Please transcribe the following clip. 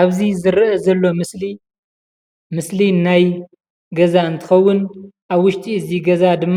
አብዚ ዝረእ ዘሎ ምስሊ ምሰሊ ናይ ገዛ እንትኮውን አብ ውሽጢ እዚ ገዛ ድማ